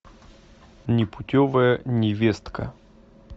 непутевая невестка